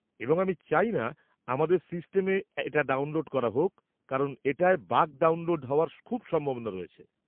এবং আমি চাই না আমাদের সিস্টেমে এটা ডাউনলোড করা হোক কারণ এটায় বাগ ডাউনলোড হওয়ার খুব সম্ভাবনা রয়েছে৷